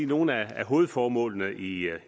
nogle af hovedformålene i